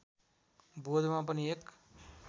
बोधमा पनि एक